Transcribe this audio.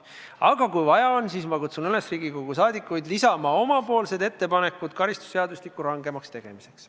Aga kui on vaja, siis ma kutsun Riigikogu liikmeid üles lisama omapoolsed ettepanekud karistusseadustiku rangemaks tegemiseks.